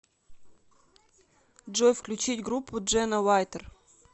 джой включить группу джена вайтер